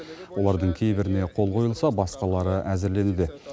олардың кейбіріне қол қойылса басқалары әзірленуде